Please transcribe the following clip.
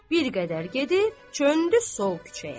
Bir qədər gedib döndü sol küçəyə.